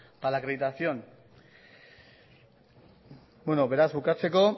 para la acreditación beraz bukatzeko